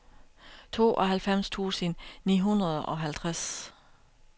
tooghalvfems tusind ni hundrede og halvtreds